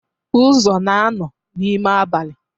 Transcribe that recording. Uzo na-anọ n'ime abalị.